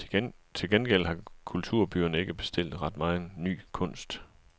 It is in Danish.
Til gengæld har kulturbyerne ikke bestilt ret megen ny kunst.